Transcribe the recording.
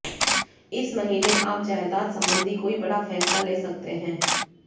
इस महीने आप जायदाद संबंधी कोई बड़ा फैसला ले सकते हैं